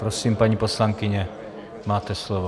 Prosím, paní poslankyně, máte slovo.